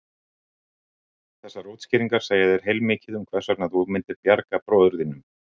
Þessar útskýringar segja þér heilmikið um hvers vegna þú myndir bjarga bróður þínum.